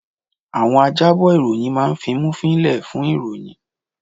Àwọn ajábọ̀ ìròyìn máa fimúfiín lẹ̀ fún ìròyìn